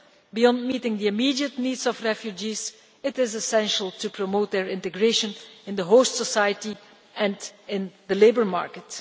Beyond meeting the immediate needs of refugees, it is essential to promote their integration in the host society and in the labour market.